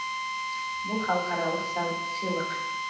бұл халықаралық сыйлық